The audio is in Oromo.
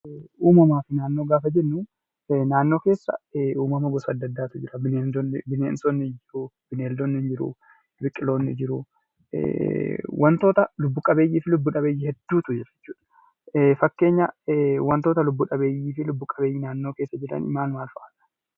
Uummamaa fi naannoo jechuun naannoo keessa uummama gosa adda addaatu jira bineensota, bineeldota, biqiloota, wantoota lubbu qabeeyyii fi lubbu dhabeeyyii hedduutu argamu.